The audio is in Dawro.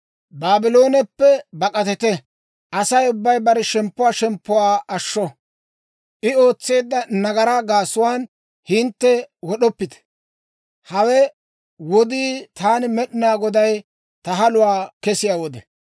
«Baablooneppe bak'atite! Asay ubbay bare shemppuwaa shemppuwaa ashsho! I ootseedda nagaraa gaasuwaan hintte wod'oppite! Hawe wodii taani Med'inaa Goday ta haluwaa kesiyaa wode.